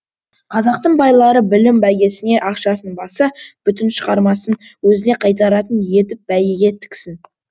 қазақтың байлары білім бәйгесіне ақшасын басы бүтін шығармасын өзіне қайтаратын етіп бәйгеге тіксін